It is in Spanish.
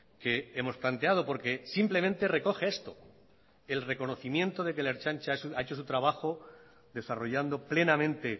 que hemos planteado porque simplemente recoge esto el reconocimiento de que la ertzaintza ha hecho su trabajo desarrollando plenamente